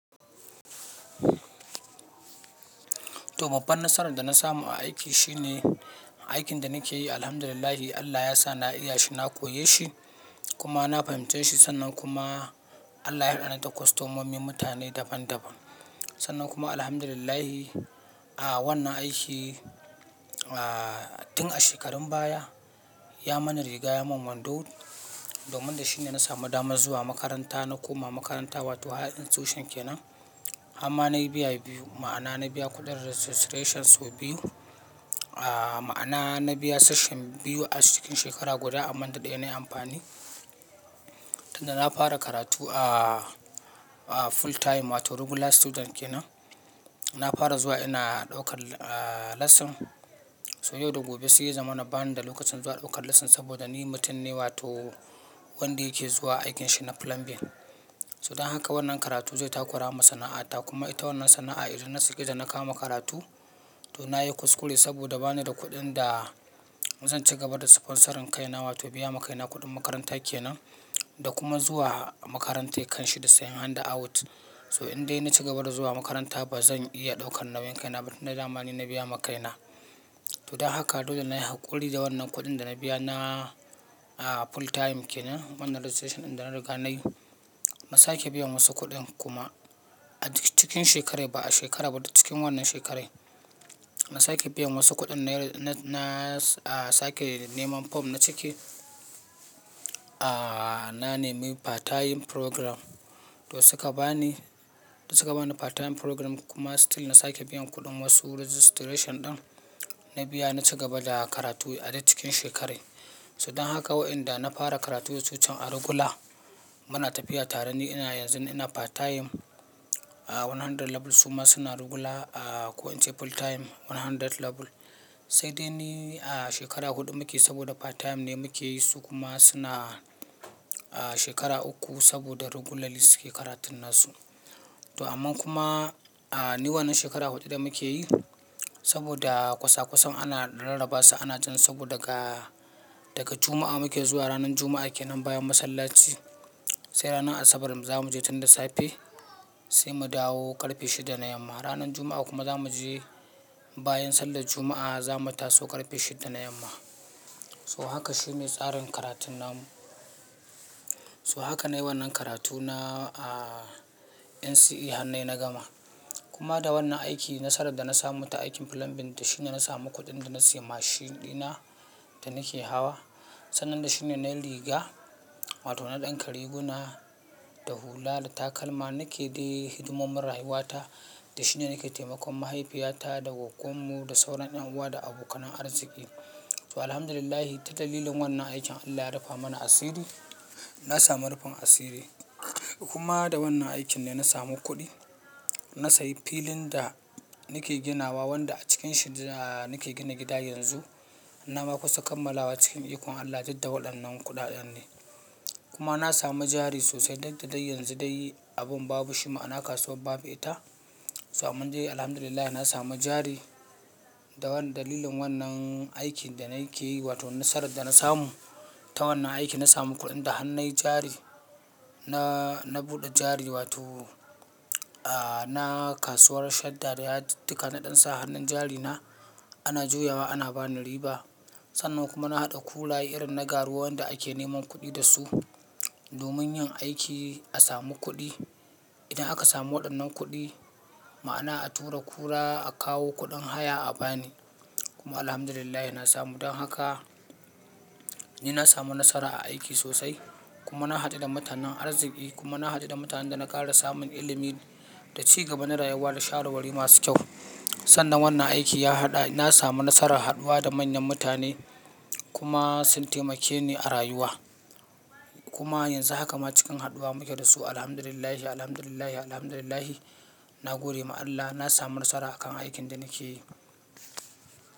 Toh babbar nasarar da na samu a aiki shine aikin da nake yi Alhamdulillah Allah ya sa na iya shi, na koyi shi kuma na fahimci shi. Sannan kuma Allah ya haɗa ni da kwastomomi mutane daban-daban. Sannan kuma Alhamdulillah a wannan aiki, ah tun a shekarun baya ya mani riga, ya mun wando domin da shine na samu damar zuwa makaranta. Na koma makaranta wato Higher institution kenan har ma nayi biya biyu ma'ana na biya kuɗin registrations biyu. Ah ma'ana na biya session biyu a cikin shekara guda amma ɗaya nayi amfani. Tun da na fara karatu a full time wato regular student kenan, na fara zuwa ina daukar lesson. So yau da gobe sai zaman na bani da lokacin zuwa daukar lesson saboda ni mutum ne wato wanda yake zuwa aikinsa na plumbing. So dan haka wannan karatu zai takura masa sana'a ta kuma ita wannan sana'a idan na sake da na kama karatu to na yi kuskure saboda ba ni da kuɗin da zan ci gaba da sponsoring kaina wato biya makaina kuɗin makaranta kenan da kuma zuwa makaranta kan shi da sayan hand out. So in dai na ci gaba da zuwa makaranta ba zan iya ɗaukar nauyin kaina ba tun da damani na biya makaina. To dan haka dole ne na yi haƙuri da wannan kuɗin da na biya na full time kenan. Wannan registration ɗin da na riga nayi na sake biyan wasu kuɗin kuma a duk cikin shekarar ba a shekara ba duk cikin wannan shekarar. Na sake biyan wasu kuɗin na sake neman form na cike, ah na nemi part time program to suka bani, suka bani part time program kuma still na sake biyan kuɗin wasu registration ɗin na biya na ci gaba da karatu a duk cikin shekarar. So dan haka wa'inda na fara karatu can a regular muna tafiya tare ni ina yanzu ina part time one hundred level su ma suna regular ko in ce full time one hundred level. Sai dai ne shekara huɗu muke saboda part time ne muke yi su kuma suna shekara uku saboda regularly suke karatun su. To amma kuma ni wannan shekara huɗu da muke yi saboda kwasa kwasan ana rarrabawa ana jan saboda daga, daga Juma'a muke zuwa ranar Juma'a kenan bayan masallaci. Sai ranar Asabar zamu je tun da safe sai mu dawo ƙarfe shida na yamma. Ranar Juma'a kuma za mu je bayan sallar Juma'a za mu taso ƙarfe shida na yamma. So haka shine tsarin karatun namu. So haka na yi wannan karatu na a NCE hannai na gama. Kuma da wannan aiki nasarar da na samu ta aikin plumbing da shine na samu kuɗin da na sayi mashin ɗina da nake hawa. Sannan da shine na riga wato na ɗinka riguna da hula da takalma nake dai hidimomin rayuwata da shine nake taimakon mahaifiyata da gwagwan mu da sauran ƴan uwa da abokan arzikin. To Alhamdulillah ta dalilin wannan aikin Allah ya rufe mana asiri. Na samu rufin asiri kuma da wannan aikin ne na samu kuɗi. Na sayi filin da nake ginawa wanda a cikin shi da nake gina gida yanzu. Amma kusa kammalawa cikin ikon Allah, duk da waɗannan kuɗaɗen ne. Kuma na samu jari sosai duk da dai yanzu dai abin babu shi ma'ana kasuwar babu ita. So amma de Alhamdulillah na samu jari da wannan dalilin wannan aikin da nake yi wato nasarar da na samu ta wannan aiki na samu kuɗin da har nai jari na, na buɗe jari wato a na kasuwar Shadda da yadiddika naɗan sa hannun jari na ana juyawa ana bani riba. Sannan kuma na haɗa kula'i irin na garuwa wanda ake neman kuɗi da su domin yin aiki a samu kuɗi. Idan aka samu waɗannan kuɗi ma'ana a tura kura a kawo kuɗin haya a bani kuma Alhamdulillah na samu. Dan haka ni na samu nasara a aiki sosai kuma na haɗu da mutanen arzikin kuma na haɗu da mutanen da na ƙara samun ilimi da cigaba na rayuwa da sharawari masu kyau. Sannan wannan aiki ya haɗa na samu nasarar haɗuwa da manyan mutane kuma sun taimake ni a rayuwa. Kuma yanzu haka ma cikin haɗuwa muke da su Alhamdulillah, Alhamdulillah, Alhamdulillah. Na gode ma Allah na samu nasara a kan aikin da nake yi.